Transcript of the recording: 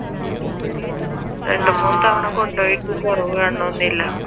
രണ്ടു മൂന്നു തവണ കൊണ്ടുപോയിട്ടും കുറവ് കാണണൊന്ന് ഇല്ല